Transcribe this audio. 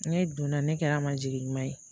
Ne donna ne kɛra a ma jigi ɲuman ye